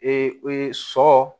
sɔ